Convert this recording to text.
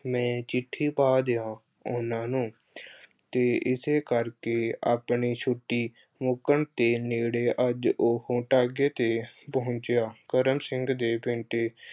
ਮੈਂ ਚਿੱਠੀ ਪਾ ਦਿਆਂ ਉਹਨਾਂ ਨੂੰ ਅਹ ਤੇ ਏਸੇ ਕਰਕੇ ਆਪਣੀ ਛੁੱਟੀ ਮੁੱਕਣ ਦੇ ਨੇੜੇ ਅੱਜ ਉਹੋ ਤਾਂਗੇ ਤੇ ਪਹੁੰਚਿਆ। ਕਰਮ ਸਿੰਘ ਦੇ ਕਹਿਣ ਤੇ